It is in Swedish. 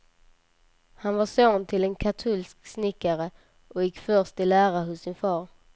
Han var son till en katolsk snickare och gick först i lära hos sin far.